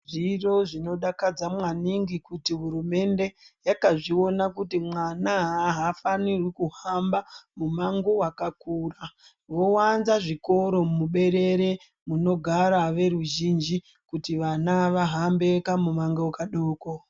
Zviro zvinodakadza maningi kuti hurumende vanozviona kuti mwana afaniri kuhamba mumango wakakura vowanza zvikora muberere munogara veruzhinji kuti vana vagare kamumango kadoko.